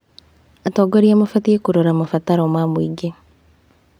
Atongoria mabatiĩ kũrora mabataro wa mũingĩ.